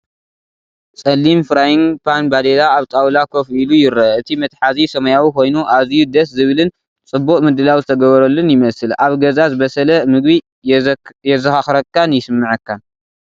ጸሊም ፍራይንግ ፓን ባዴላ ኣብ ጣውላ ኮፍ ኢሉ ይርአ። እቲ መትሓዚ ሰማያዊ ኮይኑ፡ ኣዝዩ ደስ ዝብልን ጽቡቕ ምድላው ዝተገብረሉን ይመስል። ኣብ ገዛ ዝበሰለ ምግቢ የዘኻኽረካን ይስምዓካን።